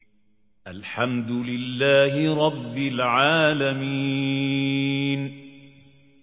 الْحَمْدُ لِلَّهِ رَبِّ الْعَالَمِينَ